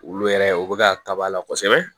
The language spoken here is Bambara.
Olu yɛrɛ u bɛ ka kaba la kosɛbɛ